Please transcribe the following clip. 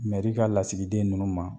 Mɛri ka lasigiden ninnu ma